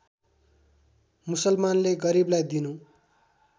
मुसलमानले गरीबलाई दिनु